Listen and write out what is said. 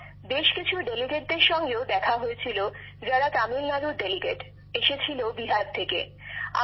সেখানে বেশ কিছু প্রতিনিধিদের সঙ্গেও দেখা হয়েছিল যারা তামিলনাড়ু্তে এসেছিল বিহারের প্রতিনিধি হিসেবে